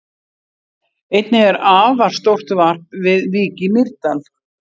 Einnig er afar stórt varp við Vík í Mýrdal.